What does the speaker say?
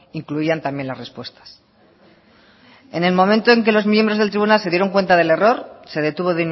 incluyan también las respuestas en el momento en que los miembros del tribunal se dieron cuenta del error se detuvo